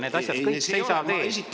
Need asjad kõik seisavad ees.